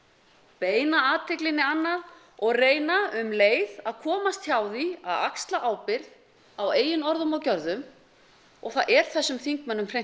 beina athyglinni annað og reyna um leið að komast hjá því að axla ábyrgð á eigin orðum og gjörðum og það er þessum þingmönnum hreint